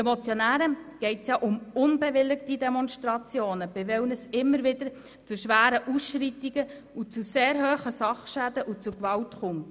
Den Motionären geht es ja um unbewilligte Demonstrationen, bei denen es immer wieder zu schweren Ausschreitungen, zu sehr hohen Sachschäden und zu Gewalt kommt.